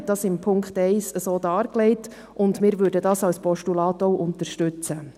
er hat das in Punkt 1 so dargelegt, und wir würden das als Postulat auch unterstützen.